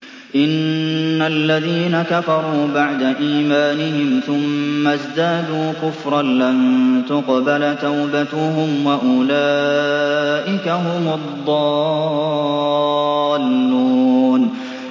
إِنَّ الَّذِينَ كَفَرُوا بَعْدَ إِيمَانِهِمْ ثُمَّ ازْدَادُوا كُفْرًا لَّن تُقْبَلَ تَوْبَتُهُمْ وَأُولَٰئِكَ هُمُ الضَّالُّونَ